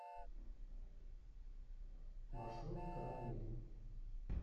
маршрут карамель